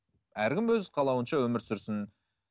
әркім өз қалауынша өмір сүрсін